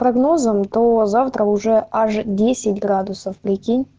прогнозам то завтра уже аж десять градусов прикинь